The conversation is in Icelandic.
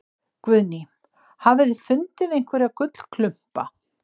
Guðný: Hafið þið fundið einhverja gullklumpa?